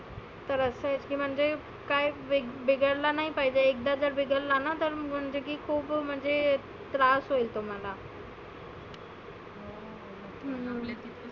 तर असं आहे की म्हणजे काय बीग बिघडला नाही पाहिजे. एकदा जर बिघडला ना पण म्हणजे खुप म्हणजे त्रास होईल तुम्हाला. हम्म